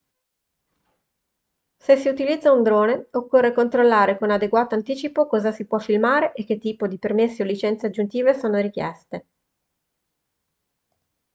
se si utilizza un drone occorre controllare con adeguato anticipo cosa si può filmare e che tipo di permessi o licenze aggiuntive sono richieste